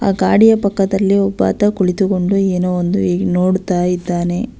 ಆ ಗಾಡಿಯ ಪಕ್ಕದಲ್ಲಿ ಒಬ್ಬಾತ ಕುಳಿತುಕೊಂಡು ಏನೋ ಒಂದು ನೋಡುತ್ತಾ ಇದ್ದಾನೆ.